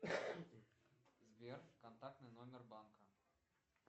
сбер контактный номер банка